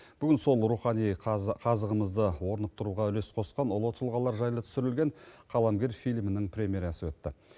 бүгін сол рухани қазығымызды орнықтыруға үлес қосқан ұлы тұлғалар жайлы түсірілген қаламгер фильмінің премьерасы өтті